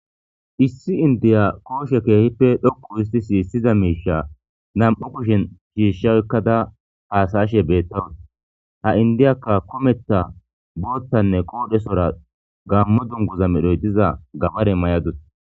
Issi inddiya koshe keehippe dhoqqu hissti sisiza miiishsha nam''u kushen shiishsha oykkada haasayashe betawus ,ha inddiya kumeththa boththanne Gammo dungguzza mayadus.